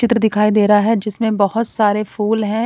चित्र दिखाई दे रहा है जिसमें बहुत सारे फूल हैं।